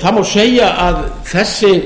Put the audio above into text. það má segja að þessi